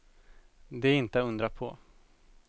Det är inte att undra på.